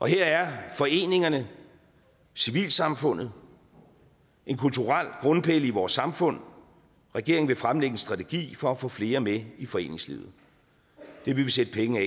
her er foreningerne og civilsamfundet en kulturel grundpille i vores samfund regeringen vil fremlægge en strategi for at få flere med i foreningslivet det vil vi sætte penge